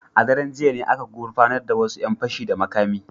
A daren jiya ne aka gurfanar da wasu ‘yan fashi da makami.